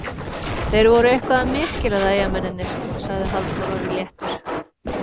Þeir voru eitthvað að misskilja það Eyjamennirnir, sagði Halldór Orri léttur.